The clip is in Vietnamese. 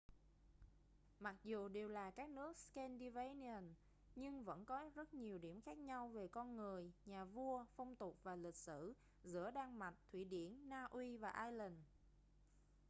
mặc dù đều là các nước scandinavian' nhưng vẫn có rất nhiều điểm khác nhau về con người nhà vua phong tục và lịch sử giữa đan mạch thụy điển na uy và iceland